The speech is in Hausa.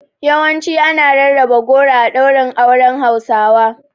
Yawancin ana rarraba goro a ɗaurin auren Hausawa.